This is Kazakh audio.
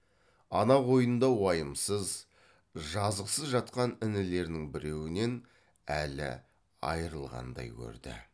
ана қойнында уайымсыз жазықсыз жатқан інілерінің біреуінен әлі айрылғандай көрді